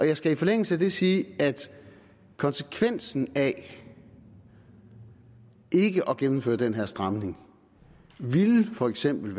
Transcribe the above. jeg skal i forlængelse af det sige at konsekvensen af ikke at gennemføre den her stramning i for eksempel